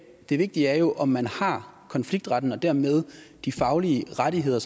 det vigtige er jo om man har konfliktretten og dermed de faglige rettigheder